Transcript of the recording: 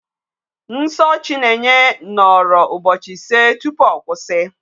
Nsọ Chinenye nọrọ ụbọchị ise tupu ọ kwụsị.